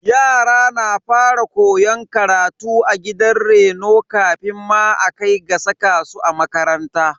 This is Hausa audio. Yara na fara koyon karatu a gidan reno kafin ma a kai ga saka su a makaranta.